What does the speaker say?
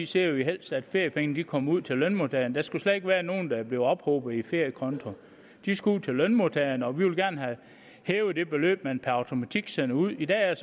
ser vi helst at feriepengene kommer ud til lønmodtagerne der skulle slet ikke være nogen der blev ophobet i feriekonto de skal ud til lønmodtagerne og vi vil gerne have hævet det beløb man per automatik sender ud i dag er